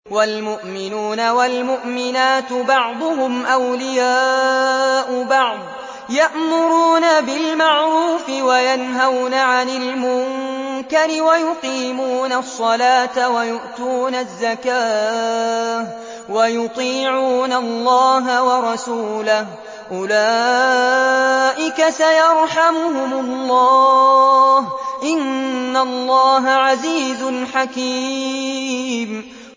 وَالْمُؤْمِنُونَ وَالْمُؤْمِنَاتُ بَعْضُهُمْ أَوْلِيَاءُ بَعْضٍ ۚ يَأْمُرُونَ بِالْمَعْرُوفِ وَيَنْهَوْنَ عَنِ الْمُنكَرِ وَيُقِيمُونَ الصَّلَاةَ وَيُؤْتُونَ الزَّكَاةَ وَيُطِيعُونَ اللَّهَ وَرَسُولَهُ ۚ أُولَٰئِكَ سَيَرْحَمُهُمُ اللَّهُ ۗ إِنَّ اللَّهَ عَزِيزٌ حَكِيمٌ